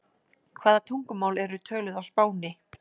Hvaða tungumál eru töluð á Spáni?